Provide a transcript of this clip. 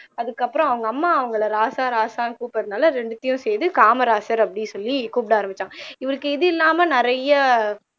அதுக்கு அப்புறம் அவங்க அம்மா அவங்கள ராசா ராசான்னு கூப்பிடறதனால இரண்டையும் சேர்த்து காமராசர் அப்படின்னு சொல்லி கூப்பிட ஆரம்பிச்சாங்க இவருக்கு இது இல்லாம நிறைய